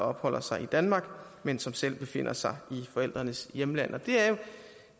opholder sig i danmark men som selv befinder sig i forældrenes hjemland